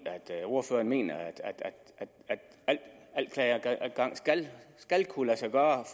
ordføreren mener at al klageadgang skal kunne lade sig gøre